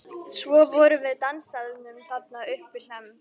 Svo vorum við á dansstaðnum þarna uppi við Hlemm.